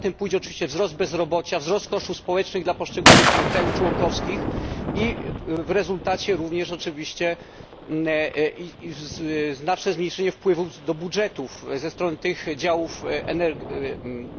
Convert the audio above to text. Za tym pójdzie oczywiście wzrost bezrobocia, wzrost kosztów społecznych dla poszczególnych państw członkowskich i w rezultacie również oczywiście znaczne zmniejszenie wpływów do budżetów ze strony tych działów